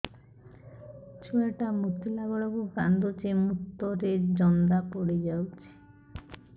ଛୁଆ ଟା ମୁତିଲା ବେଳକୁ କାନ୍ଦୁଚି ମୁତ ରେ ଜନ୍ଦା ପଡ଼ି ଯାଉଛି